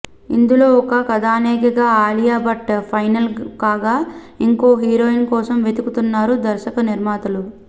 ఇందులో ఒక కథానాయకిగా అలియా భట్ ఫైనల్ కాగా ఇంకో హీరోయిన్ కోసం వెతుకుతున్నారు దర్శక నిర్మాతలు